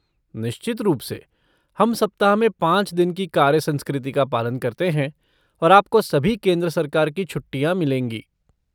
निश्चित रूप से, हम सप्ताह में पाँच दिन की कार्य संस्कृति का पालन करते हैं और आपको सभी केंद्र सरकार की छुट्टियाँ मिलेंगी।